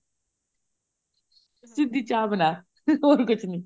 ਸਿੱਧੀ ਚਾਹ ਬਣਾ ਹੋਰ ਕੁਛ ਨੀ